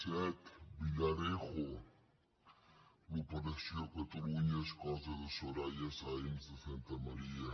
set villarejo l’operació catalunya és cosa de soraya sáenz de santamaría